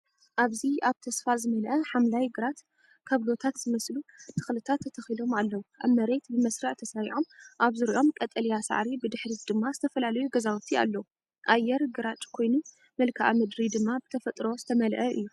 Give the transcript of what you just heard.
ኣብዚ ኣብ ተስፋ ዝመልአ ሓምላይ ግራት፡ ካብሎታት ዝመስሉ ተኽልታት ተተኺሎም ኣለዉ። ኣብ መሬት ብመስርዕ ተሰሪዖም፡ ኣብ ዙርያኦም ቀጠልያ ሳዕሪ፡ ብድሕሪት ድማ ዝተፈላለዩ ገዛውቲ ኣለዉ። ኣየር ግራጭ ኮይኑ መልክዓ ምድሪ ድማ ብተፈጥሮ ዝተመልአ እዩ።